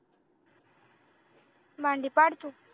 मांडी पाड तू